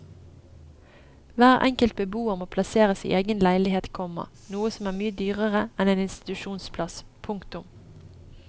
Hver enkelt beboer må plasseres i egen leilighet, komma noe som er mye dyrere enn en institusjonsplass. punktum